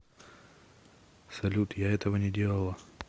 салют я этого не делала